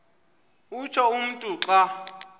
utsho umntu xa